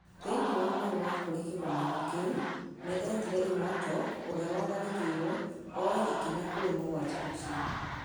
Thĩinĩ wa marũa kũrĩ kĩgomano kĩu, nĩ etire Imwatok ũria watharĩkĩirwo, ooye ikinya kũrĩ mũgwanja acio.